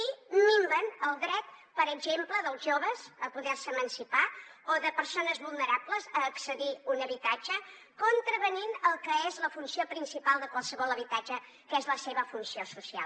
i minven el dret per exemple dels joves a poderse emancipar o de persones vulnerables a accedir a un habitatge contravenint el que és la funció principal de qualsevol habitatge que és la seva funció social